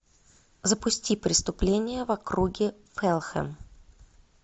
запусти преступление в округе фалхэм